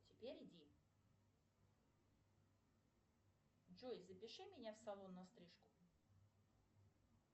джой запиши меня в салон на стрижку